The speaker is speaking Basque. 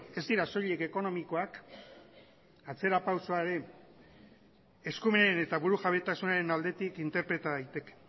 ez dira soilik ekonomikoak atzera pausuaren eskumenen eta burujabetasunaren aldetik interpreta daiteke